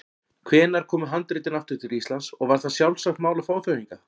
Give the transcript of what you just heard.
Hvenær komu handritin aftur til Íslands og var það sjálfsagt mál að fá þau hingað?